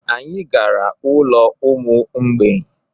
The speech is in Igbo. Anyị gara n'ụlọ ụmụ mgbei.